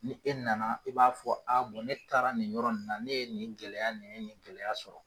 Ni e nana i b'a fɔ a ne taara nin yɔrɔ na ne ye nin gɛlɛya nin gɛlɛya sɔrɔ.